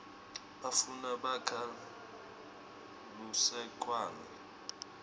bafana bakha lusekwane